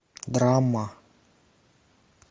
драма